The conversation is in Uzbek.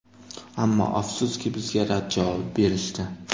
Ammo, afsuski, bizga rad javobi berishdi.